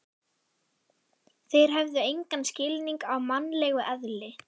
Þeir hefðu engan skilning á mannlegu eðli.